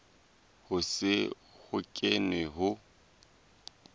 ho se ho kenwe ho